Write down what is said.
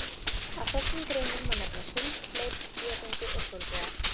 Af þessum greinum má nefna sund, hlaup, skíðagöngu og hjólreiðar.